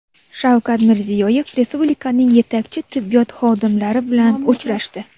Shavkat Mirziyoyev respublikaning yetakchi tibbiyot xodimlari bilan uchrashdi.